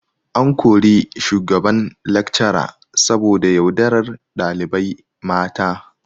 An kori shugaban lecturer saboda yaudarar dalibai mata